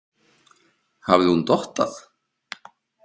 Hafði hún dottað?